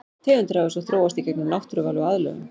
Tegundir hafa svo þróast í gegnum náttúruval og aðlögun.